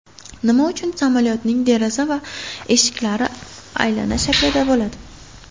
Nima uchun samolyotning deraza va eshiklari aylana shaklida bo‘ladi?.